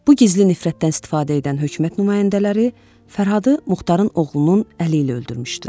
Bu gizli nifrətdən istifadə edən hökumət nümayəndələri Fərhadı Muxtarın oğlunun əli ilə öldürmüşdülər.